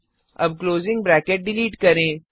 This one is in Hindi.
अब क्लोजिंग ब्रैकेट डिलीट करें